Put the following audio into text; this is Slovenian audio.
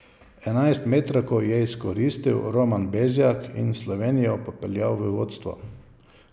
Enajstmetrovko je izkoristil Roman Bezjak in Slovenijo popeljal v vodstvo.